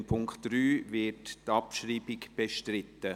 Beim Punkt 3 wird die Abschreibung bestritten.